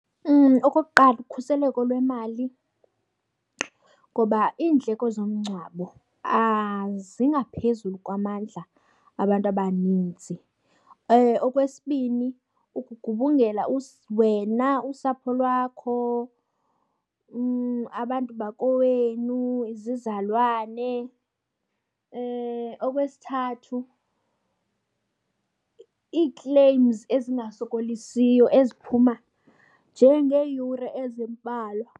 Okokuqala, ukhuseleko lwemali ngoba iindleko zomngcwabo zingaphezulu kwamandla abantu abaninzi. Okwesibini, ukugubungela wena, usapho lwakho, abantu bakowenu, izizalwane. Okwesithathu, ii-claims ezingasokolisiyo eziphuma nje ngeeyure ezimbalwa.